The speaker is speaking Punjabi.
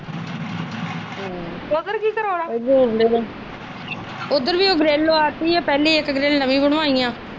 ਉਧਰ ਕੀ ਕਰੋਣਾ ਉਧਰ ਵੀ ਇੱਕ ਗਰਿੱਲ ਲਵਾ ਦਿੱਤੀ ਆ ਪਹਿਲੇ ਇੱਕ ਗਰਿੱਲ ਨਵੀਂ ਬਣਵਾਈ ਆ।